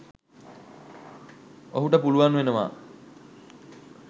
ඔහුට පුළුවන් වෙනවා